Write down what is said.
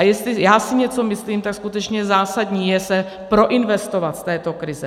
A jestli já si něco myslím, tak skutečně zásadní je se proinvestovat z této krize.